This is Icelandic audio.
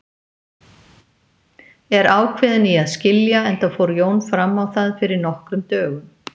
Er ákveðin í að skilja, enda fór Jón fram á það fyrir nokkrum dögum.